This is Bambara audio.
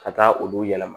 Ka taa olu yɛlɛma